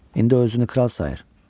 İndi o özünü kral sayır.